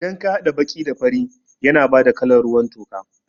Idan ka haɗa baƙi da fari yana bada kalan ruwan toka